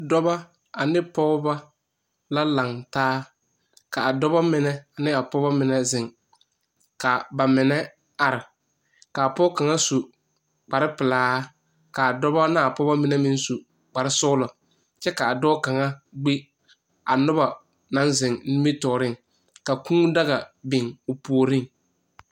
Dɔba ani pɔgeba la langtaa kaa dɔba mene ne a pɔgeba mene zeng ka ba mene a arẽ ka a poɔ kanga su kpare pelaa kaa dɔba naa pɔgaba mene meng su kpare sugla kye ka a doɔ kanga gbi a nuba nang zeng ningmitouring ka kuu daga bing ɔ pouring.